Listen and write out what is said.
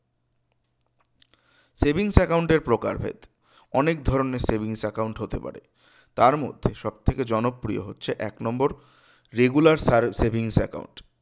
savings account এর প্রকারভেদ অনেক ধরনের savings account হতে পারে তার মধ্যে সবথেকে জনপ্রিয় হচ্ছে এক নম্বর regular savings account